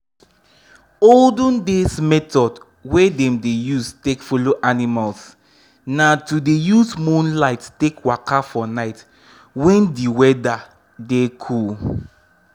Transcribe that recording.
olden days method wey dem dey use take follow animals na to dey use moonlight take waka for night when d weather dey cool.